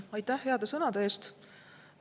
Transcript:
Aitäh heade sõnade eest!